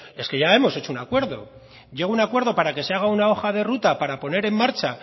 es que ya hemos hecho un acuerdo llego a un acuerdo para que se haga una hoja de ruta para poner en marcha